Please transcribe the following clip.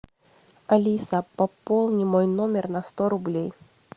алиса пополни мой номер на сто рублей